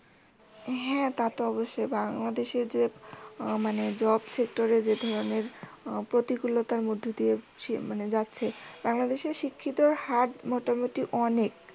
হ্যাঁ তা তো অবশ্যই বাংলাদেশে যে মানে আহ job sector এ যে ধরনের আহ প্রতিকুলতার মধ্যে দিয়ে যাচ্ছে মানে বাংলাদেশের শিক্ষিত হার মোটামুটি অনেক